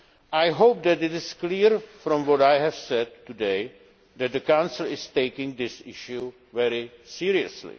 I hope it is clear from what I have said today that the Council is taking this issue very seriously.